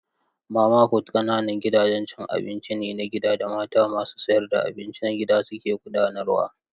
Mama fut ne ƙananan gidajen cin abinci na gida da mata masu sayar da abinci na gida suke gudanarwa.